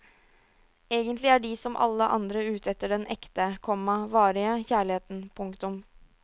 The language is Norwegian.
Egentlig er de som alle andre ute etter den ekte, komma varige kjærligheten. punktum